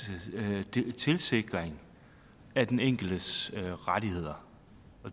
tilsikring af den enkeltes rettigheder